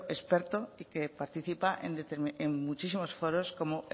experto y que participa en muchísimos foros como